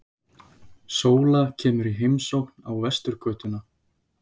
Sóla kemur í heimsókn á Vesturgötuna.